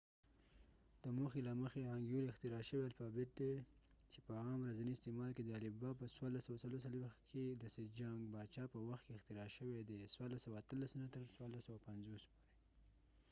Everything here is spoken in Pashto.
هانګیول hangeul د موخی له مخی اختراع شوي الفابیت دي چې په عام ورڅنی استعمال کې ، د الفبا په 1444 کې د سیجانګ باچا sejong kingپه وخت کې اختراع شوي دي 1418-1450